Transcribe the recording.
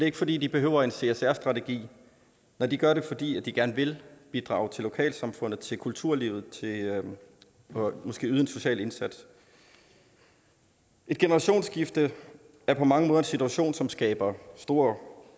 ikke fordi de behøver en csr strategi nej de gør det fordi de gerne vil bidrage til lokalsamfundet og til kulturlivet og måske yde en social indsats et generationsskifte er på mange måder en situation som skaber store